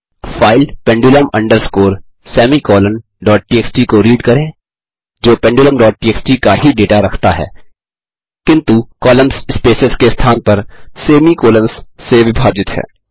file pendulum underscore semicolon TXT को read करें जो pendulumटीएक्सटी का ही डेटा रखता है किन्तु कॉलम्स स्पेसेस के स्थान पर सेमी कॉलन्स से विभाजित हैं